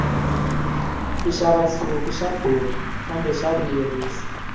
ku xava nsuku swa durha kambe swa vuyerisa